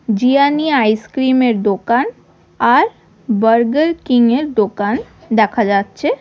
Giani ice cream -এর দোকান আর বার্গার কিং -এর দোকান দেখা যাচ্চে।